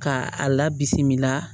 K'a a labisi bi la